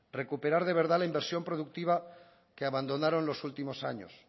recuperar de verdad la inversión productiva que abandonaron los últimos años